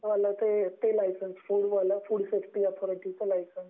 तर फ़ूडसाठीच लायसेंस किंवा तुमचे ते फूड वाल फूड सेफ्टी ऍथॉरिटीचं लायसन्स